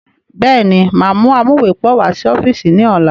Bẹ́ẹ̀ni, máa mú amuwepọ̀ wá sí ọ́fíìsì ni ọ̀la.